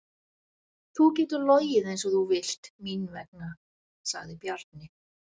Þú getur logið eins og þú vilt mín vegna, sagði Bjarni.